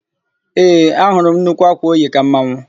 Ee, ahụrụ m nnukwu ákwà o yi ka mmanwụ.